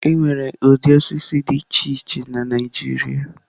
Enwere ụdị osisi dị iche iche na Naijiria.